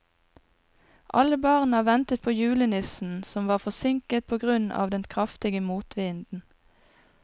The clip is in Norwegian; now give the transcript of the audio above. Alle barna ventet på julenissen, som var forsinket på grunn av den kraftige motvinden.